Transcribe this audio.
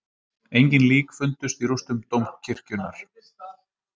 Engin lík fundust í rústum dómkirkjunnar